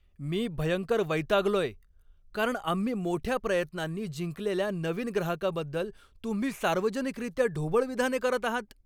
मी भयंकर वैतागलोय कारण आम्ही मोठ्या प्रयत्नांनी जिंकलेल्या नवीन ग्राहकाबद्दल तुम्ही सार्वजनिकरित्या ढोबळ विधाने करत आहात.